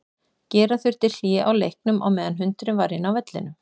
Gera þurfti hlé á leiknum á meðan hundurinn var inn á vellinum.